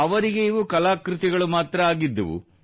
ಅವರಿಗೆ ಇವು ಕಲಾಕೃತಿಗಳು ಮಾತ್ರ ಆಗಿದ್ದವು